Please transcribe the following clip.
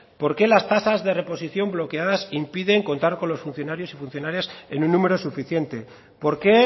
por qué las tasas de reposición bloqueadas impiden contar con los funcionarios y funcionarias en un número suficiente por qué